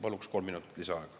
Palun kolm minutit lisaaega.